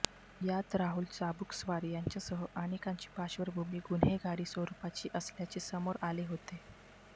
यात राहुल चाबूकस्वार याच्यासह अनेकांची पार्श्वभूमी गुन्हेगारी स्वरूपाची असल्याचे समोर आले होते